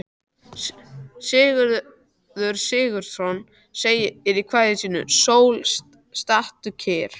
Sigurður Sigurðsson segir í kvæði sínu: Sól, stattu kyrr.